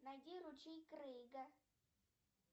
найди ручей крейга